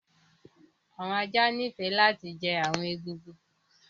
Awọn ajá níìfẹ lati jẹ́ awọn ègúngún